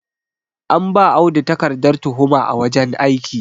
an ba Audu takardar tuhuma a wajen aiki